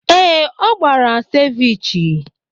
Ee, ọ gbara Cevechee.